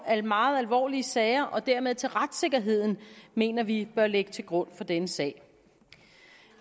af meget alvorlige sager og dermed til retssikkerheden mener vi bør ligge til grund i denne sag